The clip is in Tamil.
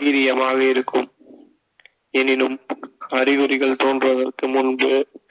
வீரியமாக இருக்கும் எனினும் அறிகுறிகள் தோன்றுவதற்கு முன்பு